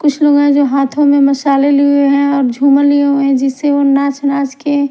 कुछ लोग हैं जो हाथों में मसाले लिए हैं और झूमर लिए हैं जिससे वो नाच-नाच के--